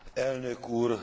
Elnök úr!